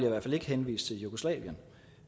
i hvert fald ikke henvise til jugoslavien